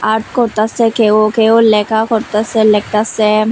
Art করতাসে কেউ কেউ লেখা করতাসে লেখাস্যে।